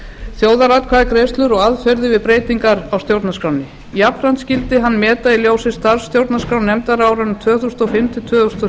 þjóðaratkvæðagreiðslur og aðferðir við breytingar á stjórnarskránni jafnframt skyldi hann meta í ljósi starfs stjórnarskrárnefndar á árunum tvö þúsund og fimm til tvö þúsund og